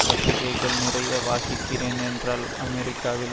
பத்திரிகைககள் நிறைய வாசிக்கிறேன் ஏன்றால் அமெரிக்காவில்